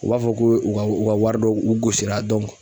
U b'a fɔ ko u ka u ka wari dɔw u gosi la